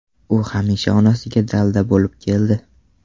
U hamisha onasiga dalda bo‘lib keldi.